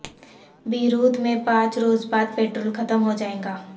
Beirut میں پانچ روز بعد پیٹرول ختم ہو جائے گا